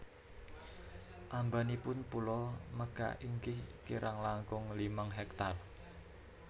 Ambanipun pulo Mega inggih kirang langkung limang hektar